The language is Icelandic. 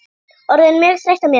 Orðin mjög þreytt á mér.